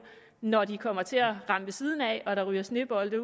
når de kommer til at ramme ved siden af og der ryger snebolde